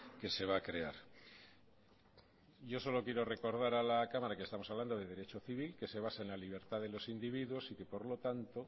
que se va a crear yo solo quiero recordar a la cámara que estamos hablando de derecho civil que se basa en la libertad de los individuos y que por lo tanto